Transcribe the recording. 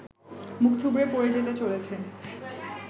মুখ থুবড়ে পড়ে যেতে চলেছে